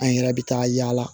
An yɛrɛ bɛ taa yaala